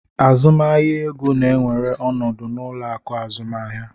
Azụmahịa ego na-ewere ọnọdụ n'ụlọ akụ azụmaahịa.